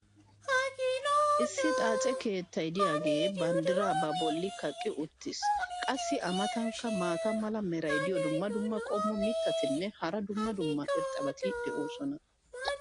issi xaace keettay diyaagee banddiraa ba boli kaqqi uttiis. qassi a matankka maata mala meray diyo dumma dumma qommo mitattinne hara dumma dumma irxxabati de'oosona.